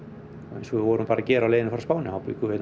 eins og við vorum að gera á leiðinni frá Spáni þá bjuggum við